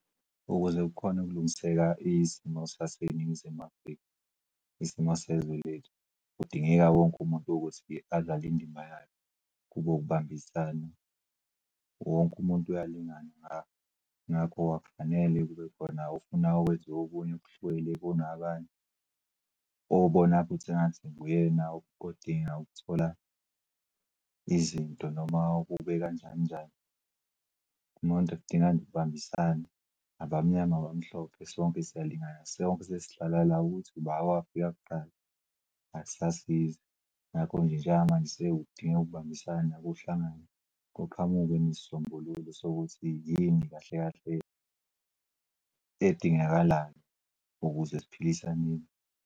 Ukuze kukhone ukulungiseka isimo saseNingizimu Afrika, isimo sezulu kudingeka wonke umuntu ukuthi-ke adlala indima yayo kube ukubambisana. Wonke umuntu uyalingana ngakho akufanele kube khona ofuna kwenziwe okuny'okuhlukile kunabanye obona futhi engathi nguyena odinga ukuthola izinto noma kube kanjani njani. Umuntu kudinga nje ukubambisana abamnyama nabamhlophe. Sonke siyalingana sonke sesihlala la ukuthi uba owafika kuqala akusasizi ngakho nje njengamanje sekudingek'ukubambisana ukuhlangana kuqhamukwe nesisombululo sokuthi yini kahle kahle edingakalayo ukuze siphilisaneni.